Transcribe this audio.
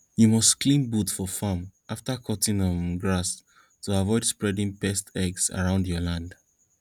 you must clean boot for farm after cutting um grass to avoid spreading pests eggs around your land